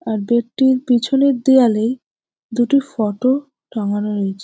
আর bed -টির পিছনের দেওয়ালেই দুটি ফটো টাঙানো রয়েছে ।